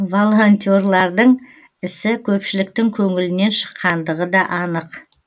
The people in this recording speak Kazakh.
волонтерлардың ісі көпшіліктің көңілінен шыққандығы да анық